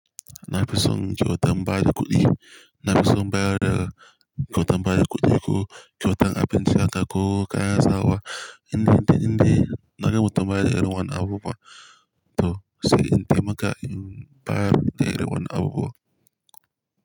Na fi son kyautan bayar da kuɗi. Na fi son bayar da kyautan bayar kuɗi ko kyautan abinci haka ko kayan sawa. In dai, in dai, in dai naga mutum baya da irin wannan abubuwan to sai in taimaka in bayar da irin wannan abubuwan.